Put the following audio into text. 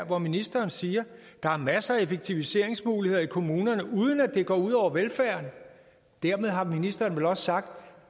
hvor ministeren siger at der er masser af effektiviseringsmuligheder i kommunerne uden at det går ud over velfærden dermed har ministeren vel også sagt at